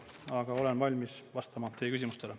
Aga olen valmis vastama teie küsimustele.